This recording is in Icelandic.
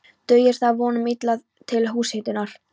Dugir það að vonum illa til húshitunar.